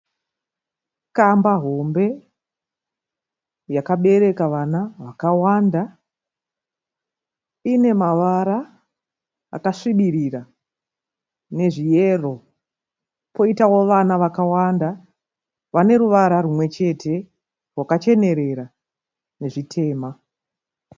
Kamba hombe yakabereka vana vakawanda. Ine mavara akasvibirira nezveyero. Koitawo vana vakawanda vane ruvara rumwechete rwakachenerera nezvitema.